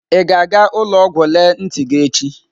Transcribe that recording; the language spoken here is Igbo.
Ị ga-aga ụlọ ọgwụ lelee ntị gị echi?